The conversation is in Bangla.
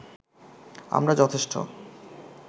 আমরা যথেষ্ট